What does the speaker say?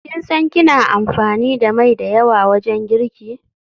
Kin san kina amfani da mai da yawa wajen girki?